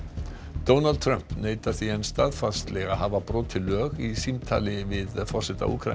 Donald Trump neitar því enn staðfastlega að hafa brotið lög í símtali sínu við forseta Úkraínu